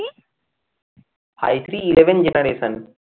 I three eleven generation